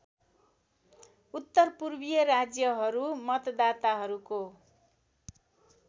उत्तरपूर्वीय राज्यहरूमा मतदाताहरूको